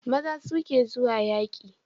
Maza su ke zuwa yaƙi